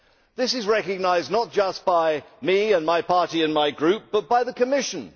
This is recognised not just by me, my party and my group, but by the Commission.